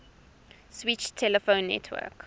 switched telephone network